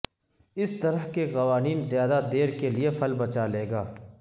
اس طرح کے قوانین زیادہ دیر کے لئے پھل بچا لے گا